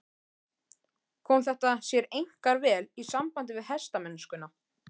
Kom þetta sér einkar vel í sambandi við hestamennskuna.